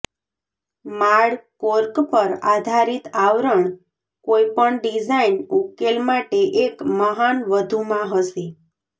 માળ કોર્ક પર આધારિત આવરણ કોઈપણ ડિઝાઇન ઉકેલ માટે એક મહાન વધુમાં હશે